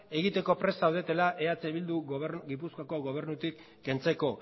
egiteko prest zaudetela eh bildu gipuzkoako gobernutik kentzeko